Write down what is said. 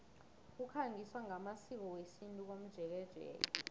kukhangiswa ngamasiko wesintu komjekejeke